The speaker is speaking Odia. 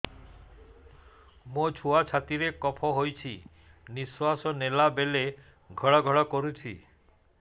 ମୋ ଛୁଆ ଛାତି ରେ କଫ ହୋଇଛି ନିଶ୍ୱାସ ନେଲା ବେଳେ ଘଡ ଘଡ କରୁଛି